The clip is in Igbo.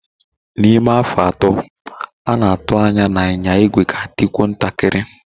Na ime afọ atọ, a na-atụ anya na ịnya igwe ga adikwu ntakiri.